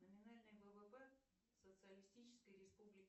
номинальный ввп социалистической республики